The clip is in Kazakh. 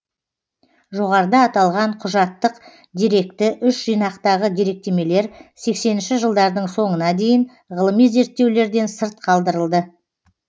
жоғарыда аталған құжаттык деректі үш жинақтағы деректемелер сексенінші жылдардың соңына дейін ғылыми зерттеулерден сырт қалдырылды